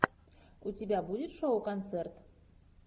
у тебя будет шоу концерт